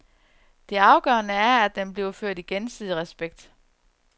Det afgørende er, at den bliver ført i gensidig respekt.